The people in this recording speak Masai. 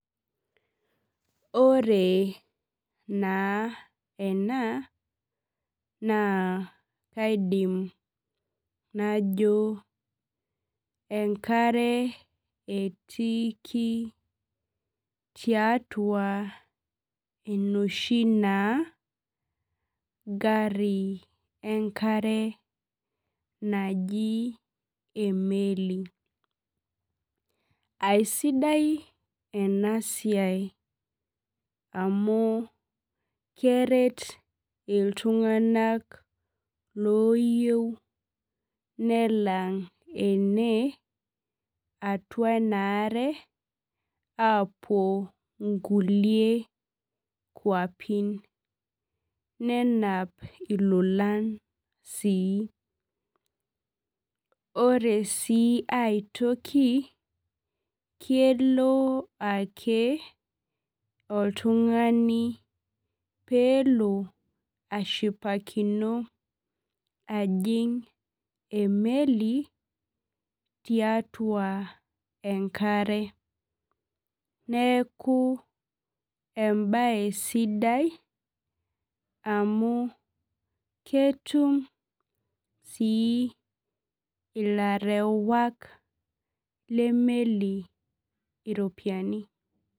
Ore na ena na kaidim najo enkareb etiiki tiatua enoshi na gari enkare najii emeli aisidai enasia anu keret ltunganak loyieu nelang ename atua enaare apuo nkulie keapi nenap lolan sii ore si aitoki kelo ake oltungani pelo ashipakino ajing emeli tiatua enkare neaku amu ketum si ilarewak lemeli iropiyiani